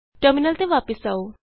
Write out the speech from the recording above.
terminal ਤੇ ਵਾਪਸ ਆਉ